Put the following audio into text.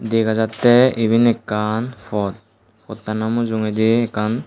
dega jatte iben ekkan pot phottano mujungedi ekkan.